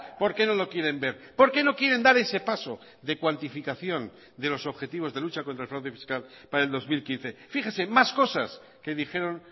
por qué no lo quieren ver por qué no quieren dar ese paso de cuantificación de los objetivos de lucha contra el fraude fiscal para el dos mil quince fíjese más cosas que dijeron